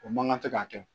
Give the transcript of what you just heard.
O man kan tɛ k'a kɛ